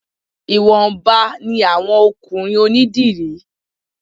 Ìwọ̀nba ni àwọn ọkùnrin onídìrí